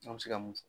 An bɛ se ka mun fɔ